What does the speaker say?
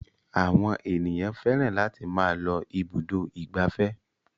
Àwọn ènìyàn fẹ́ràn láti máa lọ ibùdó ìgbafẹ́.